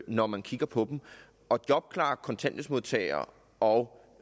når man kigger på dem og jobklare kontanthjælpsmodtagere og